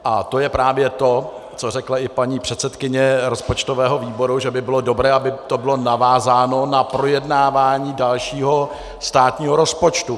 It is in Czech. A to je právě to, co řekla i paní předsedkyně rozpočtového výboru, že by bylo dobré, aby to bylo navázáno na projednávání dalšího státního rozpočtu.